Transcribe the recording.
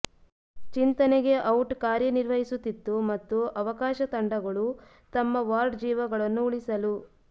ಚಿಂತನೆಗೆ ಔಟ್ ಕಾರ್ಯನಿರ್ವಹಿಸುತ್ತಿತ್ತು ಮತ್ತು ಅವಕಾಶ ತಂಡಗಳು ತಮ್ಮ ವಾರ್ಡ್ ಜೀವಗಳನ್ನು ಉಳಿಸಲು